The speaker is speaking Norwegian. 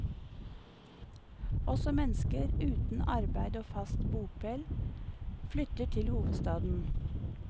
Også mennesker uten arbeid og fast bopel flytter til hovedstaden.